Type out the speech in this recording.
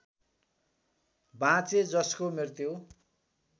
बाँचे जसको मृत्यु